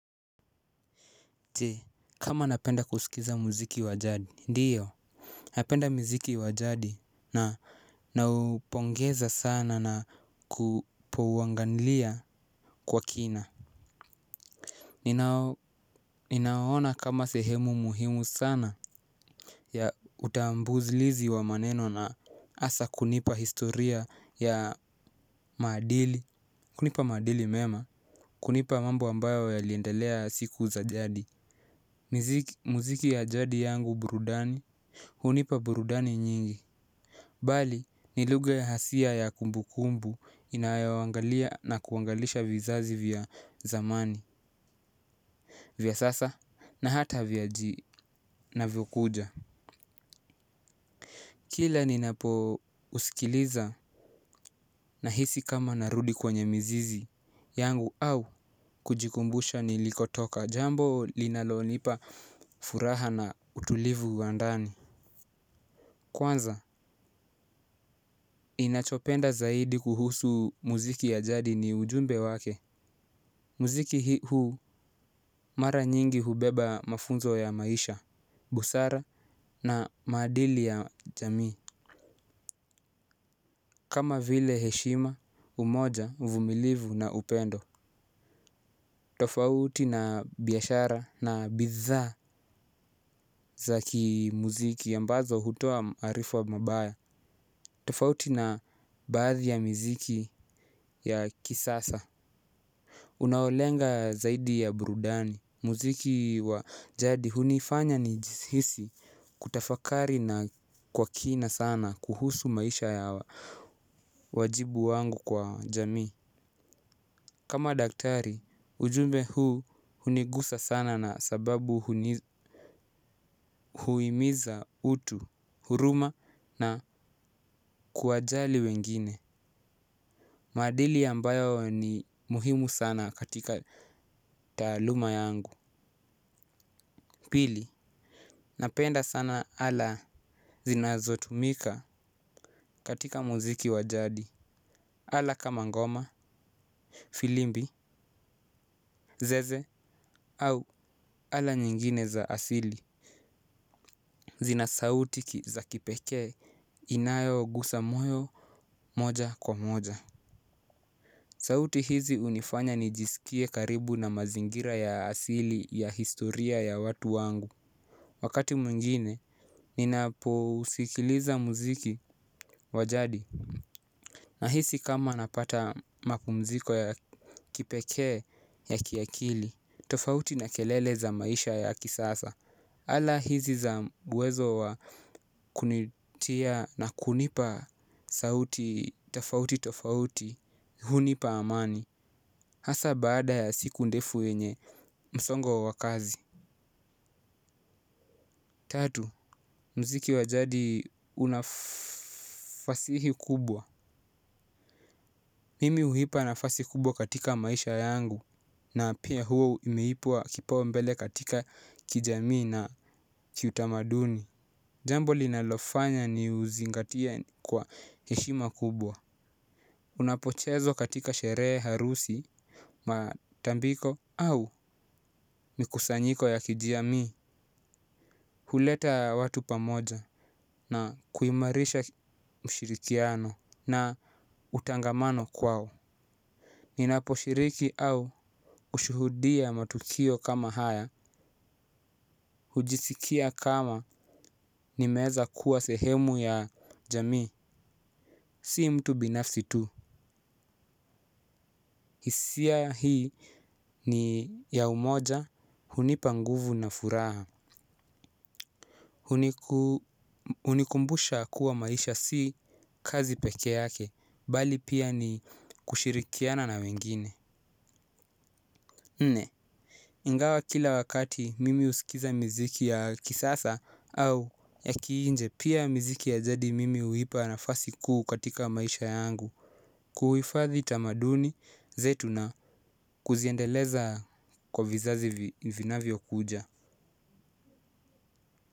Je kama napenda kusikiza muziki wa jadi ndiyo. Napenda muziki wa jadi na naupongeza sana na kupowanganlia kwa kina. Ninaona kama sehemu muhimu sana ya utambuzlizi wa maneno na asa kunipa historia ya maadili. Kunipa maadili mema. Kunipa mambo ambayo yaliendelea siku za jadi. Muziki ya jadi yangu burudani hunipa burudani nyingi. Bali ni lugha hasia ya kumbu kumbu inayoangalia na kuangalisha vizazi vya zamani vya sasa na hata vinavyokuja. Kila ninapo usikiliza nahisi kama narudi kwenye mzizi yangu au kujikumbusha nilikotoka jambo linalonipa furaha na utulivu wa ndani. Kwanza, ninachopenda zaidi kuhusu muziki ya jadi ni ujumbe wake. Muziki huu mara nyingi hubeba mafunzo ya maisha, busara na madili ya jamii. Kama vile heshima, umoja, vumilivu na upendo. Tofauti na biashara na bidhaa za kimuziki mbazo hutoa maarifa mabaya. Tofauti na baadhi ya miziki ya kisasa unaolenga zaidi ya burudani, muziki wa jadi hunifanya nijihisi kutafakari na kwa kina sana kuhusu maisha ya wajibu wangu kwa jamii. Kama daktari, ujumbe huu hunigusa sana na sababu huimiza utu huruma na kuwajali wengine. Maadili ambayo ni muhimu sana katika taaluma yangu. Pili, napenda sana ala zinazo tumika katika muziki wa jadi. Ala kama ngoma, filimbi, zeze au ala nyingine za asili. Muziki huu mara nyingi hubeba mafunzo ya maisha, busara na maadili ya jamii. Sauti hizi hunifanya nijisikie karibu na mazingira ya asili ya historia ya watu wangu. Wakati mwingine, ninapousikiliza muziki wa jadi nahisi kama napata mapumziko ya kipekee ya kiakili tofauti na kelele za maisha ya kisasa. Ala hizi za uwezo wa kunitia na kunipa sauti tofauti tofauti hunipa amani. Hasa baada ya siku ndefu yenye msongo wa kazi. Tatu, muziki wajadi unafasihi kubwa. Mimi huipa nafasi kubwa katika maisha yangu na pia huo imeipua kipaumbele katika kijamii na kiutamaduni. Jambo linalofanya niuzingatie kwa heshima kubwa. Unapochezwa katika sherehe, harusi, matambiko au mikusanyiko ya kijamii. Huleta watu pamoja na kuimarisha mshirikiano na utangamano kwao. Ninapo shiriki au kushuhudia matukio kama haya. Hujisikia kama nimeweza kuwa sehemu ya jamii. Si mtu binafsi tu hisia hii ni ya umoja hunipa nguvu na furaha. Unikumbusha kuwa maisha si kazi peke yake. Bali pia ni kushirikiana na wengine nne ingawa kila wakati mimi husikiza miziki ya kisasa au kiinje pia miziki ya jadi nimeipa nafasi kuu katika maisha yangu. Kuhifadhi tamaduni zetu na kuziendeleza kwa vizazi vinavyokuja.